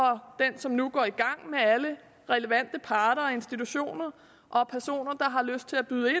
den som nu går i gang med alle relevante parter og institutioner og personer har lyst til at byde ind